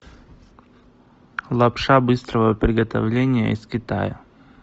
лапша быстрого приготовления из китая